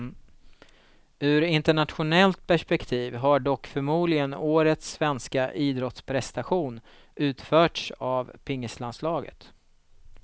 Ur internationellt perspektiv har dock förmodligen årets svenska idrottsprestation utförts av pingislandslaget.